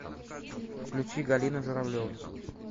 включи галина журавлева